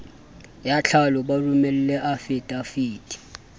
ya tlhalo ba romele afidaviti